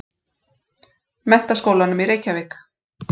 Menntaskólanum í Reykjavík.